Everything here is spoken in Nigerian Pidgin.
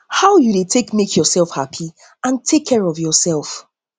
how you dey take make yourself happy and take care of yourself